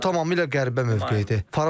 Bu tamamilə qəribə mövqeyidir.